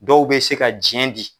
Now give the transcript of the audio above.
Dɔw bɛ se ka jɛn di.